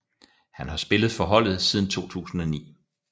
Han har spillet for holdet siden 2009